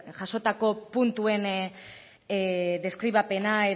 jasotako puntuen deskribapena